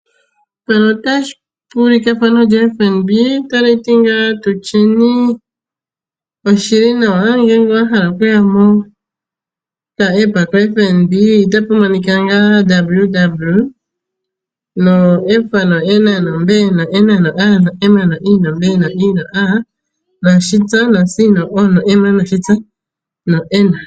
Mpano otapu ulike efano lyombanga yotango yopashigwana. Otali ti ngaa tutyeni oshilinawa ngele wa hala okuya mokaApp kombanga yotango yopashigwana, otapu monika nga www.fnbnamibia.com.na.